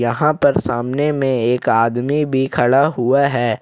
यहां पर सामने में एक आदमी भी खड़ा हुआ है।